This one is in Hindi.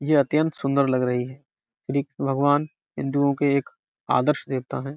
यह अत्यंत सुंदर लग रही है। भगवान हिंदुओं के एक आदर्श देवता हैं।